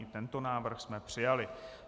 I tento návrh jsme přijali.